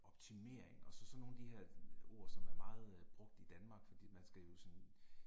Optimering og så sådan nogle af de her ord som er meget brugt i Danmark, for man skal jo sådan